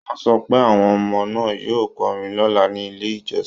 Wọ́n sọ pé àwọn ọmọ náà yóò kọrin lọ́la ní ilé ìjọsìn